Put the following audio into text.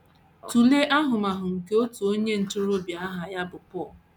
Tụlee ahụmahụ nke otu onye ntorobịa aha ya bụ Paul.